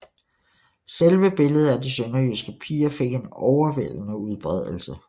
Selve billedet af De Sønderjyske Piger fik en overvældende udbredelse